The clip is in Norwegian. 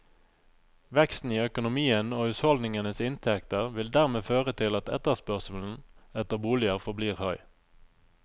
Veksten i økonomien og husholdningenes inntekter vil dermed føre til at etterspørselen etter boliger forblir høy.